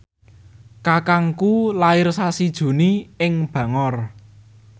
kakangku lair sasi Juni ing Bangor